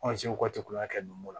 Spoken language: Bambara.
waati kun y'a kɛ don go don